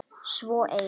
Svo ein.